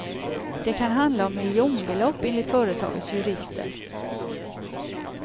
Det kan handla om miljonbelopp enligt företagets jurister.